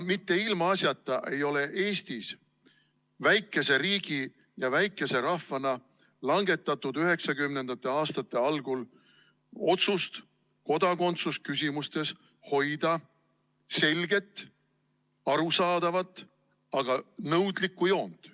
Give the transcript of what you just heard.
Mitte ilmaasjata ei ole Eestis väikese riigi ja väikese rahvana langetatud 1990. aastate algul otsust kodakondsusküsimustes hoida selget, arusaadavat, aga nõudlikku joont.